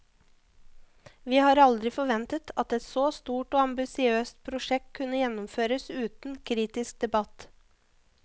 Vi har aldrig forventet, at et så stort og ambitiøst projekt kunne gennemføres uden kritisk debat.